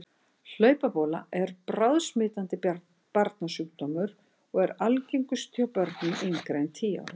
Hlaupabóla er bráðsmitandi barnasjúkdómur og er algengust hjá börnum yngri en tíu ára.